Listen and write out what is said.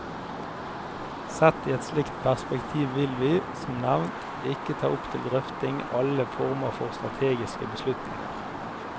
Sett i et slikt perspektiv vil vi, som nevnt, ikke ta opp til drøfting alle former for strategiske beslutninger.